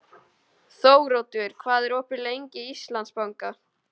Þóroddur, hvað er opið lengi í Íslandsbanka?